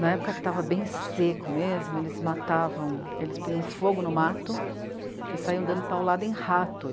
Na época que estava bem seco mesmo, eles matavam... Eles punham fogo no mato e saíam dando paulada em rato.